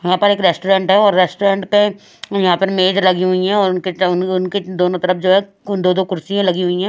यहाँ पर एक रेस्टोरेंट है और रेस्टोरेंट पे यहाँ पर मेज लगी हुई हैं और उनके च उन उनके दोनों तरफ जो है कुन दो-दो कुर्सियाँ लगी हुई हैं।